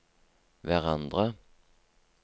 hverandre